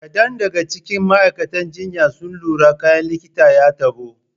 Kadan daga cikin ma'aikatan jinya sun lura da kayan likitan ya tabo.